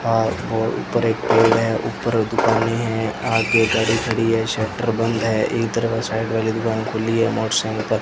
पास और ऊपर एक हॉल है ऊपर दुकाने है आगे गाड़ी खड़ी है शटर बंद है इधर का साइड वाली दुकान खुली है मोटरसाइकल --